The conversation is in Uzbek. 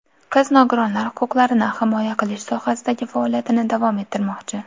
Qiz nogironlar huquqlarini himoya qilish sohasidagi faoliyatini davom ettirmoqchi.